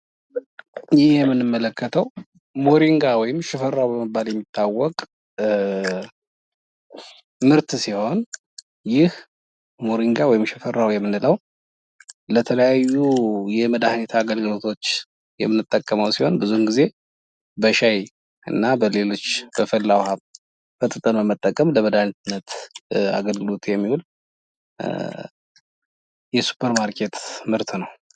ይህ የምንመለከተው ሞሪንጋ ወይም ሽፈራው በመባል የሚታወቅ ምርት ሲሆን ይህ ሞሪንጋ ወይም ሽፈራው የምንለው ለተለያዩ የመድሀኒት አገልግሎቶች የምንጠቀመው ሲሆን ብዙውን ጊዜ በሻይ እና በሌሎች በፈላ ውሃ በጥብጠን በመጠቀም ለመድኃኒትነት አገልግሎት የሚውል የሱፐርማርኬት ምርት ነው ።